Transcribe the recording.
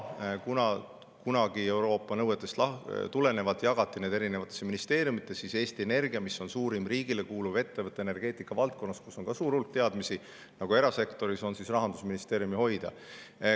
Kuna kunagi Euroopa nõuetest tulenevalt jagati need erinevatesse ministeeriumitesse, siis Eesti Energia, mis on suurim riigile kuuluv ettevõte energeetikavaldkonnas ja kus on suur hulk teadmisi nagu erasektoris, on Rahandusministeeriumi hoida.